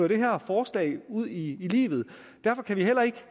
det her forslag ud i livet derfor kan vi heller ikke